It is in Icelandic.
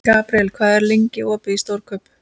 Gabriel, hvað er lengi opið í Stórkaup?